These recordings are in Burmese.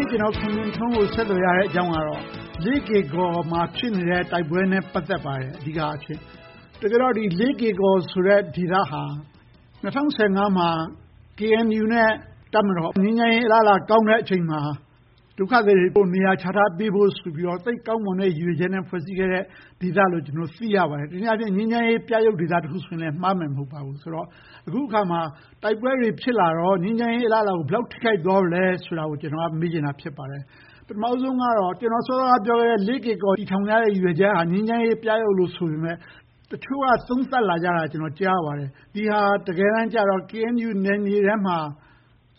ေ့ ကျနော် ခွန်မြင့်ထွန်းကို ဆက်သွယ်ရတဲ့အကြောင်းကတော့ လေးကေကော်မှာ ဖြစ်ပွားနေတဲ့ တိုက်ပွဲတွေနဲ့ အဓိကအားဖြင့် ပတ်သက်ပါတယ်။ တကယ်တော့ လေးကေကော်ဆိုတဲ့ ဒေသဟာ ၂၀၁၅ မှာ KNU နဲ့ တပ်မတော် ငြိမ်းချမ်းရေးအလားအလာကောင်းတဲ့အချိန်မှာ ဒုက္ခသည်တွေကို နေရာပြန်လည်ချထားပေးဖို့ဆိုတဲ့ သိပ်ကောင်းမွန်တဲ့ ရည်ရွယ်ချက်နဲ့ ဖွဲ့စည်းထားတဲ့ဒေသလို့ သိရပါတယ်။ တနည်းအားဖြင့် ငြိမ်းချမ်းရေးပြယုဂ်ဒေသတခုဆိုရင်လဲ မှားမယ်မထင်ပါဘူး။ အခုအခါမှာ တိုက်ပွဲတွေဖြစ်လာတော့ ငြိမ်းချမ်းရေးအလားအလာကို ဘယ်လောက်ထိခိုက်သွားပြီလဲဆိုတာကို ကျနော်က မေးချင်တာ ဖြစ်ပါတယ်။ ပထမဦးဆုံးကတော့ ကျနော်က စောစောကပြောခဲ့တဲ့ လေးကေကော် တည်ထောင်ရတဲ့ ရည်ရွယ်ချက်က ငြိမ်းချမ်းရေးပြယုဂ်လို့ ဆိုပေမယ့် တချို့က သုံးသပ်လာတာကို ကျနော်ကြားရပါတယ် ဒီဟာက တကယ်တမ်းကြတော့ KNU နယ်မြေထဲမှာ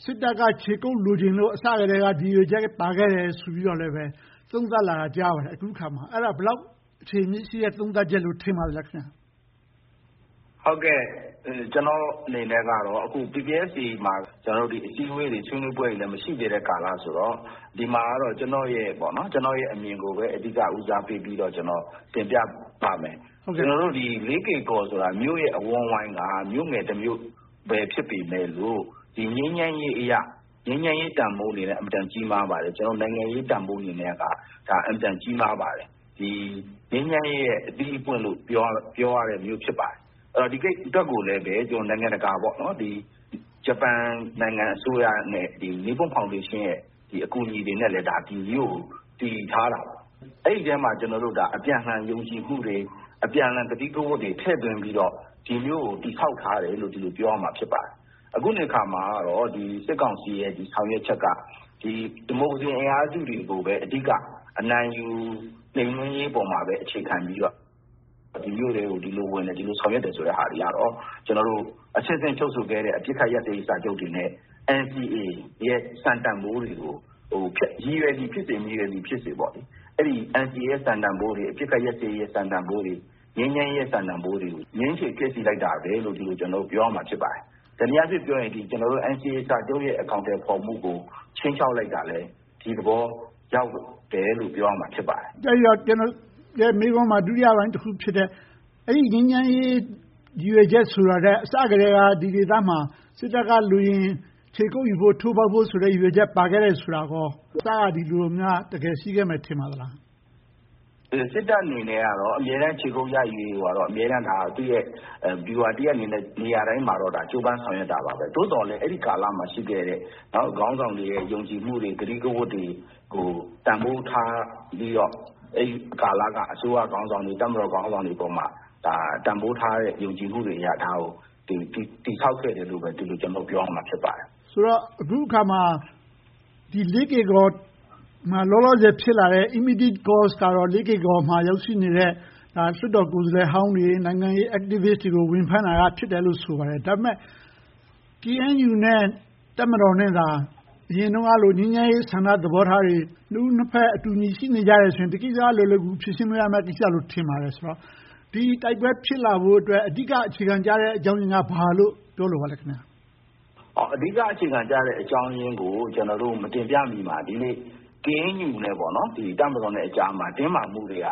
စစ်တပ်က ခြေကုပ်လိုချင်လို့ အစကတည်းက ဒီရည်ရွယ်ချက်ပါခဲ့တယ်လို့ သုံးသပ်ကြတာကို အခုအခါမှာ ကြားသိရပါတယ်။ အဲဒါ ဘယ်လောက် အခြေအမြစ်ရှိတဲ့ သုံးသပ်ချက်လို့ ထင်ပါသလဲ။ ကျနော့်အနေနဲ့ကတော့ အခု PPST မှာ အစည်းအဝေးတွေ မရှိသေးတဲ့ကာလဆိုတော့ ဒီမှာတော့ ကျနော့်ရဲ့ အမြင်ကိုပဲ အဓိက ဦးစားပေးပြီးတော့ တင်ပြပါမယ်။ လေးကေကော်ဆိုတာ မြို့ရဲ့အဝန်းအဝိုင်းက မြို့ငယ်တမြို့ပဲ ဖြစ်ပေမယ်လို့ ငြိမ်းချမ်းရေးအရ ငြိမ်းချမ်းရေးတန်းဖိုးအနေနဲ့ အင်မတန် ကြီးမားပါတယ်။ နိုင်ငံရေးတန်းဖိုးအနေနဲ့က အင်မတန်ကြီးမားပါတယ်။ ငြိမ်းချမ်းရေးရဲ့ အသိအပွင့်လို့ ပြောရတဲ့မြို့ ဖြစ်ပါတယ်။ ဒီအတွက်ကိုလဲ နိုင်ငံတကာနဲ့ ဂျပန်နိုင်ငံအစိုးရရဲ့ နိပွန်ဖောင်ဒေးရှင်းတို့ရဲ့ အကူအညီတွေနဲ့ ဒီမြို့ကို တည်ထားတာပါ။ အဲဒီအထဲမှာ အပြန်အလှန် ယုံကြည်မှုတွေ၊ အပြန်အလှန် ကတိကဝတ်တွေ ထည့်သွင်းပြီးတော့ ဒီမြို့ကို တည်ဆောက်ထားတယ်လို့ ဒီလိုပြောရမှာပါ။ အခုအနေအခါမှာ စစ်ကောင်စီရဲ့ ဆောင်ရွက်ချက်က ဒီမိုကရေစီအင်အားစုတွေကိုပဲ အဓိက အနိုင်ယူနှိမ်နင်းရေးပေါ်မှာပဲ အခြေခံပြီးတော့ ဒီမြို့ထဲကို ဒီလိုဝင်တယ်၊ ဒီလိုဆောင်ရွက်တယ်ဆိုတာတွေက ကျနော်တို့ အဆင့်ဆင့်ချုပ်ဆိုခဲ့တဲ့ အပစ်ခတ်ရပ်စဲရေးစာချုပ်တွေနဲ့ NCA ရဲ့ စံတန်းဖိုးတွေကို ရည်ရွယ်သည်ဖြစ်စေ၊ မရည်ရွယ်သည်ဖြစ်စေ NCA စံတန်းဖိုးတွေ၊ ငြိမ်းချမ်းရေးရဲ့ စံတန်းဖိုးတွေကို ငြင်းဆိုးဖျက်ဆီးလိုက်တာပဲလို့ ဒီလိုပြောရမှာ ဖြစ်ပါတယ်။ တနည်းအားဖြင့်ပြောရရင် NCA စာချုပ်ရဲ့ အကောင်အထည်ဖော်မှုကို ခြိမ်းခြောက်လိုက်တာလဲ၊ ဒီသဘောရောက်တယ်လို့ ပြောရမှာ ဖြစ်ပါတယ်။ အဲဒီတော့ ကျနော့်ရဲ့ မေးခွန်းမှာ ဒုတိယပိုင်းတခုဖြစ်တဲ့ အဲဒီငြိမ်းချမ်းရေး ရည်ရွယ်ချက်ဆိုတာထက် အစကတည်းက ဒီဒေသမှာ စစ်တပ်ကလိုရင် ခြေကုပ်ယူဖို့ ထိုးဖောက်ဖို့ဆိုတဲ့ ရည်ရွယ်ချက်ပါခဲ့တယ်ဆိုတာကော အစက ဒီလိုမျိုး ရှိခဲ့မယ်လို့ ထင်ပါသလား။ စစ်တပ်အနေနဲ့တော့ အမြဲတမ်း ခြေကုပ်ရယူရေးကို အမြဲတမ်း သူ့ရဲ့ဗျူဟာတရပ်အနေနဲ့ နေရာတိုင်းမှာတော့ ကြိုးပမ်းဆောင်ရွက်နေပါတယ်။ သို့သော်လဲ အဲဒီကာလမှာ ရှိခဲ့တဲ့ ခေါင်းဆောင်တွေရဲ့ ယုံကြည်ချက်တွေ၊ ကတိကဝတ်တွေကို တန်းဖိုးထားပြီးတော့ အဲဒီကာလက အစိုးရခေါင်းဆောင်တွေ၊ တပ်မတော်ခေါင်းဆောင်တွေအပေါ်မှာ တန်းဖိုးထားတဲ့ ယုံကြည်ချက်တွေအရ ဒါကို တည်ဆောက်ခဲ့တယ်လို့ပဲ ကျနော်တို့ ပြောရမှာ ဖြစ်ပါတယ်။ ဆိုတော့ အခုအခါမှာ လေးကေကော်မှာ လောလောဆယ် ဖြစ်လာတဲ့ immediate cause ကတော့ လေးကေကော်မှာ ရောက်ရှိနေတဲ့ လွှတ်တော်ကိုယ်စားလှယ်ဟောင်းတွေ၊ နိုင်ငံရေး activists တွေကို ဝင်ဖမ်းတာက အဓိကဖြစ်တယ်လို့ ဆိုပါတယ်။ ဒါပေမဲ့ KNU နဲ့ တပ်မတော်နဲ့သာ အရင်တုန်းကလို ငြိမ်းချမ်းရေးဆန္ဒသဘောထားတွေ နှစ်ဦးနှစ်ဘက် တူညီရှိနေကြတယ်ဆိုရင် ဒီကိစ္စက လွယ်လွယ်ကူကူ ဖြေရှင်းလို့ရမယ့် ကိစ္စလို့ ထင်ပါတယ်။ ဆိုတော့ ဒီတိုက်ပွဲတွေ ဖြစ်လာဖို့အတွက် အဓိက အခြေခံကျတဲ့ အကြောင်းရင်းက ဘာလို့ပြောလိုပါလဲ။ အဓိကအခြေခံကျတဲ့အကြောင်းရင်းကို ကျနော်တို့ မတင်ပြမီမှာ KNU နဲ့ တပ်မတော်ကြားမှာ တင်းမာမှုတွေက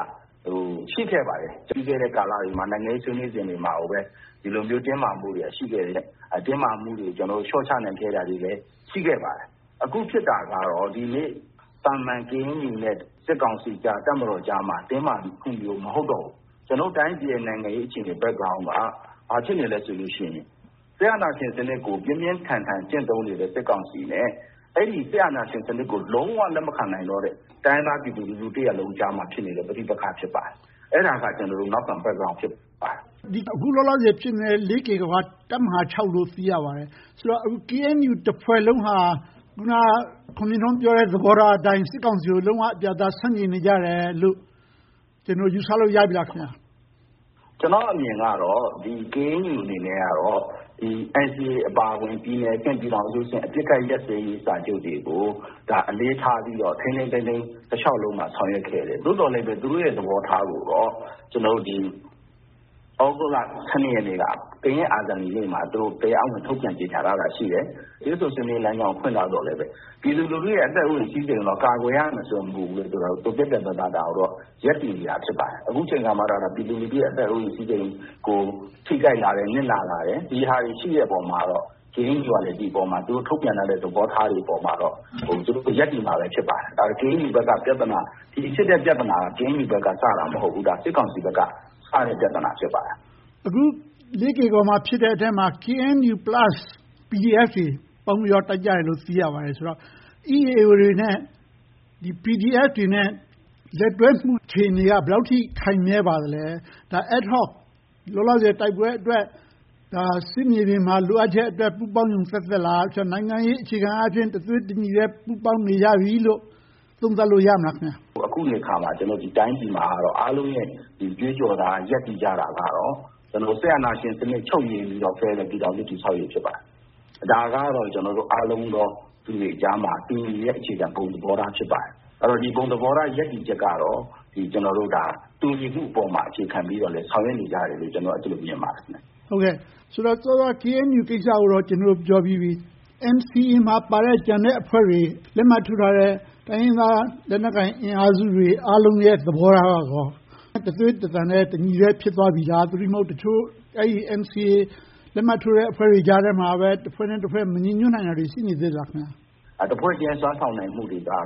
ရှိခဲ့ပါတယ်။ ပြီးခဲ့တဲ့ကာလတွေမှာ၊ နိုင်ငံရေးဆွေးနွေးနေစဉ်မှာ ဒီလိုမျိုးတင်းမာမှုတွေ ရှိခဲ့ပါတယ်။ တင်းမာမှုတွေ လျှော့ချနိုင်ခဲ့တာတွေလည်း ရှိခဲ့ပါတယ်။ အခုဖြစ်တာကတော့ သာမန် KNU နဲ့ စစ်ကောင်စီကြားမှာ တင်းမာမှုမျိုး မဟုတ်တော့ဘူး။ ကျနော်တို့တိုင်းပြည်ရဲ့ နိုင်ငံရေးအခြေအနေ Background က ဘာဖြစ်နေလဲဆိုရင် စစ်အာဏာရှင်စနစ်ကို ပြင်းပြင်းထန်ထန် ကျင့်သုံးနေတဲ့ စစ်ကောင်စီနဲ့ အဲဒီစစ်အာဏာရှင်စနစ်ကို လုံးဝလက်မခံနိုင်တော့တဲ့ တိုင်းရင်းသားပြည်သူတရပ်လုံးကြားမှာ ဖြစ်နေတဲ့ ပဋိပက္ခ ဖြစ်ပါတယ်။ အဲဒါက နောက်ခံ background ဖြစ်ပါတယ်။ အခုလောလောဆယ် ဖြစ်နေတဲ့ လေးကေကော်က တပ်မဟာ လို့ သိရပါတယ်။ ဆိုတော့ KNU တဖွဲ့လုံးဟာ အခုန ခွန်မြင့်ထွန်းပြောတဲ့ သဘောထားအတိုင်း စစ်ကောင်စီကို လုံးဝပြတ်ပြတ်သားသား ဆန့်ကျင်နေကြတယ်လို့ ကျနော်တို့ ယူဆလို့ ရပြီလား။ ကျနော့်အမြင်ကတော့ KNU အနေနဲ့ NCA အပါအဝင် ပြည်နယ်အဆင့်၊ ပြည်ထောင်စုအဆင့် အပစ်ခတ်ရပ်စဲရေးစာချုပ်တွေကို အလေးထားပြီးတော့ တလျှောက်လုံး ထိန်းထိန်းသိမ်းသိမ်း ဆောင်ရွက်ခဲ့ကြတယ်။ သို့သော်လဲ သူတို့ရဲ့ သဘောထားကိုတော့ သြဂုတ်လ ရက်နေ့က ကရင့်အာဇာနည်နေ့မှာ တရားဝင်ထုတ်ပြန်ကြေညာထားတာ ရှိတယ်။ တွေ့ဆုံဆွေးနွေးရေးလမ်းကြောင်းကို ဖွင့်ထားသော်လဲ ပြည်သူလူထုရဲ့ အသက်အိုးအိမ်စည်စိမ်တွေကို ကာကွယ်ရမယ်ဆိုတဲ့မူကိုလည်း ပြတ်ပြတ်သားသားနဲ့ ရပ်တည်နေတာလည်း ဖြစ်ပါတယ်။ အခုအချိန်မှာတော့ ပြည်သူလူထုရဲ့ အသက်အိုးအိမ်စည်စိမ်ကို ထိခိုက်လာတယ်၊ နစ်နာလာတယ်။ ဒီဟာတွေ ရှိတဲ့အပေါ်မှာတော့ KNU က ဒီအပေါ်မှာ ထုတ်ပြန်လာတဲ့ သဘောထားတွေပေါ်မှာတော့ သူတို့ရပ်တည်သွားမှာ ဖြစ်ပါတယ်။ KNU ဘက်က ဖြစ်တဲ့ပြဿနာက KNU ဘက်ကစတာ မဟုတ်ဘူး။ ဒါက စစ်ကောင်စီဘက်ကစတဲ့ ပြဿနာ ဖြစ်ပါတယ်။ အခု လေးကေကော်မှာဖြစ်တဲ့အထဲမှာ KNU plus PDF တွေ ပေါင်းပြီးတော့ တိုက်ကြတယ်လို့ သိရပါတယ်ဆိုတော့ EAO တွေနဲ့ PDF တွေရဲ့ လက်တွဲမှုအခြေအနေက ဘယ်လောက်အထိ ခိုင်မြဲပါသလဲ။ ဒါက Ad-hoc လောလောဆယ် တိုက်ပွဲအတွက် စစ်မြေပြင်မှာ လိုအပ်ချက်အတွက် ပူးပေါင်းဆောင်ရွက်ချက် သက်သက်လား။ နိုင်ငံရေးအခြေခံအားဖြင့် တသွေးတညီထဲ ပူးပေါင်းနေကြပြီလို့ သုံးသပ်လို့ရပြီလား။ အခုနေအခါမှာတော့ ဒီတိုင်းပြည်မှာ အားလုံးရဲ့ ကြွေးကြော်သံ၊ ရပ်တည်ကြတာကတော့ စစ်အာဏာရှင်စနစ် ချုပ်ငြိမ်းပြီးတော့၊ ဖယ်ဒရယ်ပြည်ထောင်စုစနစ် တည်ဆောက်ရေး ဖြစ်ပါတယ်။ ဒါကတော့ အားလုံးသောလူတွေကြားမှာ တူညီနေသော ဘုံသဘောထား ဖြစ်ပါတယ်။ ဒီဘုံသဘောထား ရပ်တည်ချက်ကတော့ တူညီမှုပေါ်မှာ အခြေခံပြီးတော့ ဆောင်ရွက်နေကြတယ်လို့ ကျနော်က အဲဒီလိုမြင်ပါတယ်။ ဆိုတော့ စောစောက KNU ကိစ္စကိုတော့ ကျနော်တို့ ပြောပြီးပြီ။ NCA မှာပါတဲ့ ကျန်တဲ့အဖွဲ့တွေ၊ လက်မှတ်ထိုးထားတဲ့ တိုင်းရင်းသား လက်နက်ကိုင်အင်အားစုတွေအားလုံးရဲ့ သဘောထားက တသွေးတသံထဲ၊ တညီတညွတ်တည်း ဖြစ်သွားပြီလား။ သို့တည်းမဟုတ် အဲဒီ NCA လက်မှတ်ထိုးထားတဲ့ အဖွဲ့တွေကြားထဲမှာ တဖွဲ့နဲ့တဖွဲ့ မညီညွှတ်နိုင်တာတွေ ရှိနေသေးသလား။ တဖွဲ့ချင်း စွမ်းဆောင်နိုင်မှုတွေကတော့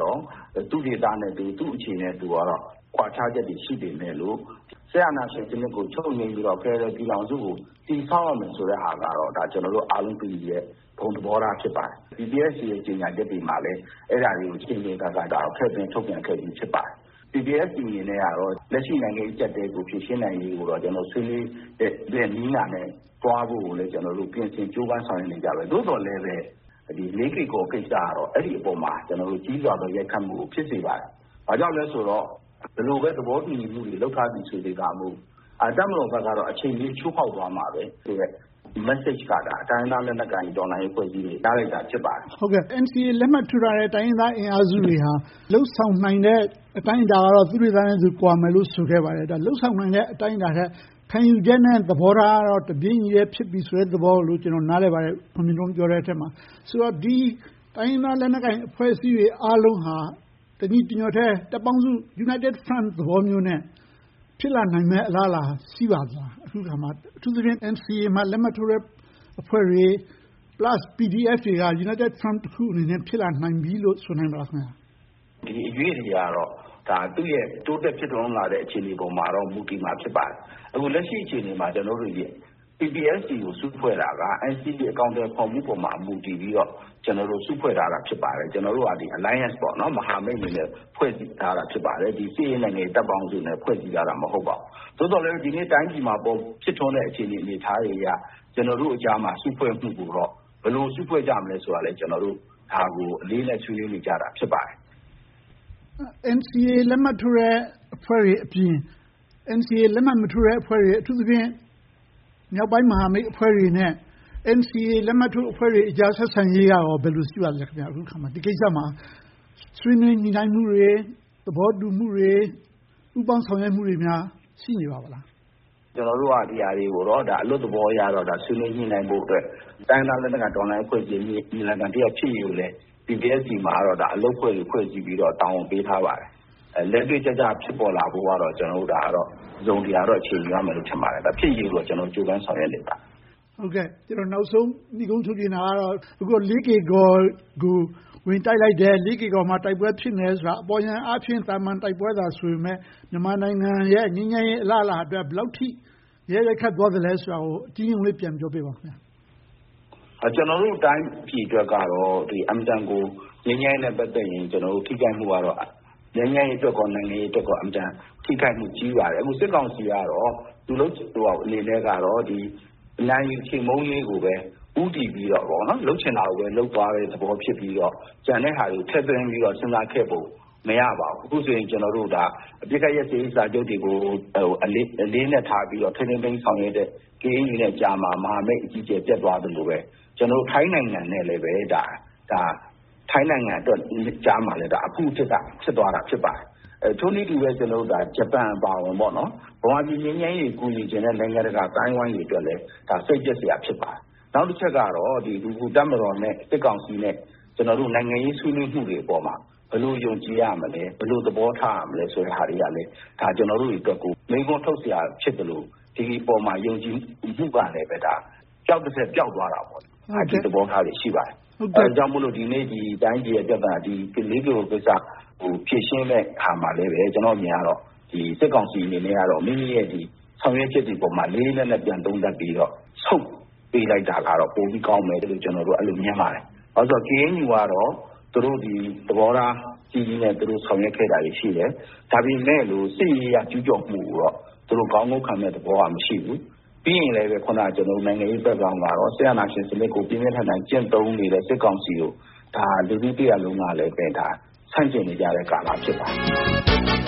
သူ့ဒေသနဲ့သူ၊ သူ့အခြေအနေနဲ့ သူကတော့ ကွာခြားချက်တွေ ရှိနေပေမဲ့လို့ စစ်အာဏာရှင်စနစ်ကို ချုပ်ငြိမ်းပြီးတော့ ဖယ်ဒရယ်ပြည်ထောင်စုကို တည်ဆောက်ကြမယ်ဆိုတာကတော့ ကျနော်တို့အားလုံး တူညီတဲ့ ဘုံသဘောထား ဖြစ်ပါတယ်။ PPST ကြေညာချက်တွေမှာလည်း အဲဒါကို အကြိမ်ကြိမ်အခါခါ ထည့်သွင်းထုတ်ပြန်ခဲ့ပြီး ဖြစ်ပါတယ်။ PPST အနေနဲ့တော့ လက်ရှိနိုင်ငံရေး အကျပ်အတည်းကို ဖြေရှင်းနိုင်ရေးကိုတော့ ဆွေးနွေးတဲ့နည်းနာနဲ့ သွားဖို့ကိုလည်း ကျနော်တို့ ပြင်ဆင်ကြိုးပမ်းဆောင်ရွက်နေကြပါတယ်။ သို့သော်လဲ လေးကေကော်ကိစ္စကတော့ အဲဒီအပေါ်မှာ ကြီးစွာသော ရိုက်ခတ်မှုကို ဖြစ်စေပါတယ်။ ဘာဖြစ်လို့လဲဆိုတော့ ဘယ်လိုပဲ သဘောတူညီမှုတွေ လုပ်ထားသည်ဖြစ်စေကာမူ တပ်မတော်ဘက်က အချိန်မရွေး ချိုးဖောက်သွားမှာပဲဆိုတဲ့ message ကတော့ တိုင်းရင်းသားလက်နက်ကိုင် တော်လှန်ရေးအဖွဲ့အစည်းတွေ ရလိုက်တာ ဖြစ်ပါတယ်။ NCA လက်မှတ်ထိုးထားတဲ့ တိုင်းရင်းသားလက်နက်ကိုင် အင်အားစုတွေက လုပ်ဆောင်နိုင်တဲ့ အတိုင်းအတာကတော့ သူ့ဒေသနဲ့သူ ကွာမယ်လို့ ဆိုခဲ့ပါတယ်။ လုပ်ဆောင်နိုင်တဲ့ အတိုင်းအတာထက် ခံယူချက်နဲ့ သဘောထားကတော့ တပြေညီထဲ ဖြစ်ကြတယ်လို့ ကျနော် နားလည်သဘောပေါက်ပါတယ်။ ခွန်မြင့်ထွန်းပြောတဲ့အထဲမှာ။ ဆိုတော့ ဒီတိုင်းရင်းသားလက်နက်ကိုင် အဖွဲ့အစည်းတွေအားလုံးဟာ တညီတညွှတ်ထဲ တပ်ပေါင်းစု United Front သဘောမျိုးနဲ့ ဖြစ်လာနိုင်မယ့် အလားအလာ အခုအခါမှာ ရှိပါသလား။ အထူးသဖြင့် NCA မှာ လက်မှတ်ထိုးထားကြတဲ့ အဖွဲ့တွေ၊ Plus PDF တွေက United Front တခုအနေနဲ့ ဖြစ်လာနိုင်ပြီလို့ ဆိုနိုင်မလား။ ဒီအရွေ့တွေကတော့ တိုးတက်ဖြစ်ထွန်းလာတဲ့ အခြေအနေပေါ်မှာတော့ မူတည်မှာ ဖြစ်ပါတယ်။ အခုလက်ရှိအခြေအနေမှာ ကျနော်တို့တွေရဲ့ PPST ကို စုဖွဲ့ထားက NCA အကောင်အထည်ဖော်မှုပေါ်မှာ မူတည်ပြီးတော့ ကျနော်တို့ စုဖွဲ့ထားတာ ဖြစ်ပါတယ်။ ကျနော်တို့ဟာ Alliance မဟာမိတ်အနေနဲ့ ဖွဲ့စည်းထားတာ ဖြစ်ပါတယ်။ စစ်ရေး၊ နိုင်ငံရေး တပ်ပေါင်းစုအနေနဲ့ ဖွဲ့စည်းထားတာ မဟုတ်ပါဘူး။ သို့သော်လဲပဲ ဒီနေ့ တိုင်းပြည်မှာ ဖြစ်ထွန်းလာတဲ့ အခြေအနေ၊ အနေအထားတွေအရ ကျနော်တို့ကြားမှာ စုဖွဲ့မှုကိုတော့ ဘယ်လိုစုဖွဲ့ကြမလဲဆိုတာကိုလဲ ကျနော်တို့ အလေးအနက် ဆွေးနွေးနေကြတာ ဖြစ်ပါတယ်။ NCA လက်မှတ်ထိုးထားတဲ့ အဖွဲ့တွေအပြင် NCA လက်မှတ်မထိုးထားတဲ့ အဖွဲ့တွေ၊ အထူးသဖြင့် မြောက်ပိုင်းမဟာမိတ်အဖွဲ့တွေနဲ့ NCA လက်မှတ်ထိုးအဖွဲ့တွေကြား ဆက်ဆံရေးက အခုအခါမှာ ဘယ်လိုရှိပါသလဲ။ ဒီကိစ္စမှာ ဆွေးနွေးညှိနှိုင်းမှုတွေ၊ သဘောတူမှုတွေ၊ ပူးပေါင်းဆောင်ရွက်မှုတွေများ ရှိနေပါသလား။ ကျနော်တို့က ဒီဟာတွေကိုတော့ အလွတ်သဘောအရ ဆွေးနွေးညှိနှိုင်းဖို့အတွက် တိုင်းရင်းသားတော်လှန်ရေး အဖွဲ့အစည်းတွေ ညီလာခံတရပ် ဖြစ်ရေးကိုလည်း PPST မှာတော့ အလုပ်အဖွဲ့တွေ ဖွဲ့စည်းပြီးတော့ တာဝန်တွေ ပေးထားပါတယ်။ လက်တွေ့ကျကျ ဖြစ်ပေါ်လာဖို့ကတော့ တစုံတရာတော့ အချိန်ယူရမယ်လို့တော့ ထင်ပါတယ်။ ဖြစ်ရေးကိုတော့ ကျနော်တို့ ကြိုးပမ်းဆောင်ရွက်နေပါတယ်။ ကျနော် နောက်ဆုံးနိဂုံးချုပ်ချင်တာကတော့ အခု လေးကေကော်ကို ဝင်တိုက်လိုက်တယ်။ လေးကေကော်မှာ တိုက်ပွဲဖြစ်နေတယ်ဆိုတာ အပေါ်ယံအားဖြင့် သာမန်တိုက်ပွဲသာ ဆိုပေမယ့် မြန်မာနိုင်ငံရဲ့ ငြိမ်းချမ်းရေးအလားအလာအတွက် ဘယ်လောက်အထိ ရိုက်ခတ်သွားသလဲဆိုတာကို အကျဉ်းရုံးလေး ပြန်ပြောပေးပါအုံး။ ကျနော်တို့ တိုင်းပြည်အတွက်ကတော့ အင်မတန်ကို ငြိမ်းချမ်းရေးနဲ့ ပတ်သက်ရင် ထိခိုက်မှုကတော့ ငြိမ်းချမ်းရေးအတွက်ကော၊ နိုင်ငံရေးအတွက်ကော အင်မတန်ထိခိုက်မှု ကြီးပါတယ်။ အခု စစ်ကောင်စီကတော့ အနိုင်ယူချေမှုန်းရေးကိုပဲ ဦးတည်ပြီးတော့၊ လုပ်ချင်တာကိုပဲ လုပ်သွားတာဖြစ်ပြီးတော့ ကျန်တဲ့ဟာတွေကို ထည့်သွင်းပြီးတော့ စဉ်းစားခဲ့ပုံ မရပါဘူး။ အခုဆိုရင် အပစ်ခတ်ရပ်စဲရေးစာချုပ်တွေကို အလေးအနက်ထားပြီးတော့ ထိန်းသိမ်းဆောင်ရွက်နေတဲ့ KNU ကြားမှာ မဟာမိတ်အကြီးအကျယ် ပျက်သွားသလိုပဲ၊ ထိုင်းနိုင်ငံနဲ့ကြားမှာလဲ အဖုအထစ် ဖြစ်သွားတာ ဖြစ်ပါတယ်။ ထိုနည်းတူစွာပဲ ဂျပန်အပါအဝင် မြန်မာပြည် ငြိမ်းချမ်းရေးကို ကူညီချင်ကြတဲ့ နိုင်ငံတကာအသိုင်းအဝိုင်းအတွက်လဲ ဒါက စိတ်ပျက်စရာ ဖြစ်ပါတယ်။ နောက်တချက်ကတော့ တပ်မတော်နဲ့ စစ်ကောင်စီနဲ့ ကျနော်တို့ နိုင်ငံရေးဆွေးနွေးမှုတွေပေါ်မှာ ဘယ်လိုယုံကြည်ရမလဲ၊ ဘယ်လိုသဘောထားရမလဲ ဆိုတဲ့ဟာတွေကလဲ ကျနော်တို့အတွက် မေးခွန်းထုတ်စရာ ဖြစ်သလို၊ ဒီအပေါ်မှာ ယုံကြည်မှုကလဲ ပျောက်သထက်ပျောက်သွားတာပေါ့။ ဒီသဘောထားတွေ ရှိပါတယ်။ အဲဒါကြောင့်မို့ ဒီနေ့ ဒီတိုင်းပြည်ရဲ့ ပြဿနာနဲ့ လေးကေကော်ကိစ္စတွေကို ဖြေရှင်းတဲ့အခါမှာလဲ စစ်ကောင်စီအနေနဲ့ မိမိရဲ့ ဆောင်ရွက်ချက်တွေအပေါ် လေးလေးနက်နက် ပြန်သုံးသပ်ပေးပြီးတော့ ဆုတ်ပေးလိုက်တာကတော့ ပိုပြီးကောင်းမယ်လို့ ကျနော်တို့က အဲဒီလို မြင်ပါတယ်။ ဘာဖြစ်လို့လဲဆိုတော့ KNU ကတော့ သူတို့ ဒီသဘောထားကြီးကြီးနဲ့ ဆောင်ရွက်ခဲ့တာတွေ ရှိပါတယ်။ ဒါပေမဲ့လို့ စစ်ရေးအရ ကျူးကျော်မှုကိုတော့ သူတို့ ခေါင်းငုံခံမယ့်သဘောတော့ မရှိဘူး။ ပြီးရင်လဲ နိုင်ငံရေး background ကတော့ စစ်အာဏာရှင်စနစ်ကို ပြင်းပြင်းထန်ထန် ကျင့်သုံးနေတဲ့ စစ်ကောင်စီကို လူထုတရပ်လုံးကလည်း ဆန့်ကျင်နေကြတဲ့ကာလ ဖြစ်ပါတယ်